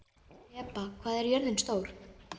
Heba, hvað er jörðin stór?